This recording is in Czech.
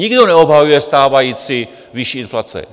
Nikdo neobhajuje stávající výši inflace.